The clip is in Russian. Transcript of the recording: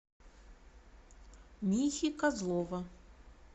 михи козлова